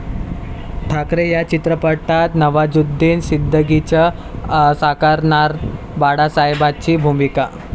ठाकरे' या चित्रपटात नवाजुद्दिन सिद्दिकीच साकारणार बाळासाहेबांची भूमिका!